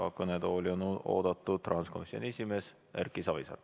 Kõnetooli on oodatud rahanduskomisjoni esimees Erki Savisaar.